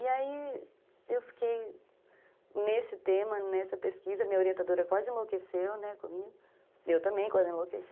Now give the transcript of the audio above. E aí eu fiquei nesse tema, nessa pesquisa, minha orientadora quase enlouqueceu, né, comigo, e eu também quase enlouqueci,